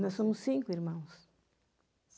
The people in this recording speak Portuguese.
Nós somos cinco irmãos.